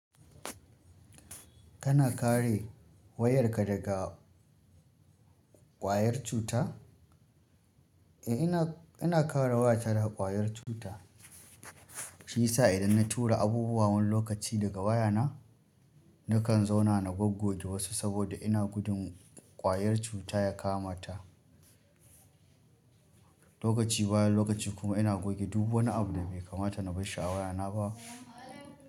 Kana kare wayarka sa ƙwayar cuta? Eh ina, ina kare wayata daga ƙwayar cuta. Shiyasa idan na tura abubuwa wani lokaci daga wayana, nakan zauna na goggoge saboda ina gudun ƙwayar cuta ya kamata lokaci bayan lokaci kuma ina goge duk wani abu da bai kamata na bashi a wayana ba.